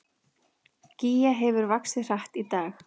Gígja hefur vaxið hratt í dag